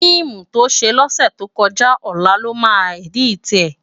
Fiimú tó sé lòsètókòjá òlá lòmá èditi è